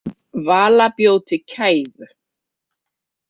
Vala bjó til kæfu.